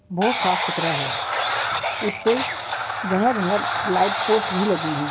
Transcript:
बोहोत साफ सुथरा है। इसपे जगह-जगह लाइट पोस्ट भी लगे हैं।